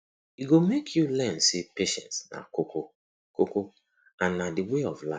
e go mek yu learn sey patience na koko koko and na di way of life